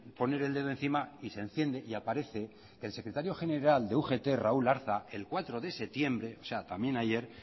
poner el dedo encima y se enciende y aparece el secretario general de ugt raúl arza el cuatro de septiembre o sea también ayer